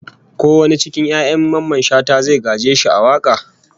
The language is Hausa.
Ko wani cikin 'ya'yan Mamman Shata zai gaje shi a waka?